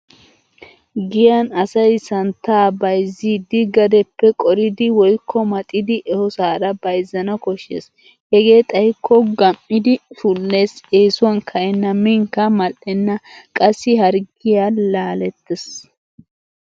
Giyan asay santtaa bayizziidi gadeppe qoridi woykko maxidi ehosaara bayzzana koshshes. Hegee xayikko gam'idi shulles, eesuwan ka'enna minkka mal'enna qassi harggiya laalettes.